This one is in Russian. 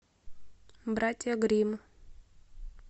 братья грим